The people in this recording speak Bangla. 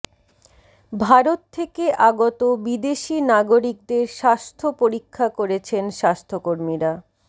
ভারত থেকে আগত বিদেশি নাগরিকদের স্বাস্থ্য পরীক্ষা করেছেন স্বাস্থ্যকর্মীরা